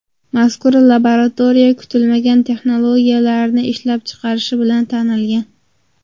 Mazkur laboratoriya kutilmagan texnologiyalarni ishlab chiqarishi bilan tanilgan.